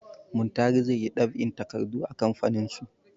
Muntari zai yi ɗab'in takardu a kamfaninsu.